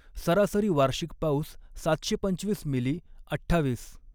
सरासरी वार्षिक पाऊस सातशे पंचवीस म़िलि अठ्ठावीस.